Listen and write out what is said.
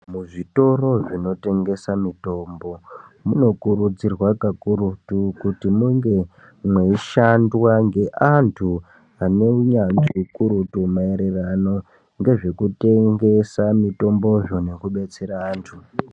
Muzvitoro zvinotengesa mitombo munokurudzirwa kakurutu kuti munge mweishandwa ngeantu ane unyanzvi ukurutu. Maererano ngezvekutengesa mitombozvo nekubetsera antu.